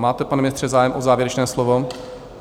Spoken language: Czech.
Máte, pane ministře, zájem o závěrečné slovo?